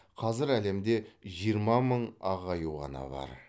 қазір әлемде жиырма мың ақ аю ғана бар